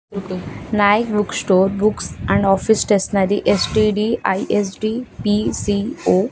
Nayak book store books and office stationery --